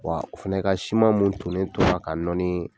Wa o fɛnɛ ka siman mun tonnen tora k'a nɔɔni